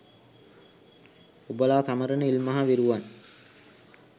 ඔබලා සමරන "ඉල්මහ විරුවන්"